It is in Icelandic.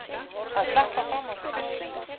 Að sleppa fram af sér beislinu